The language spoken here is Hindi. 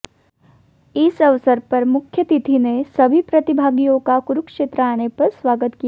इस अवसर पर मुख्यातिथि ने सभी प्रतिभागियों का कुरुक्षेत्र आने पर स्वागत किया